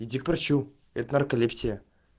иди к врачу это нарколепсия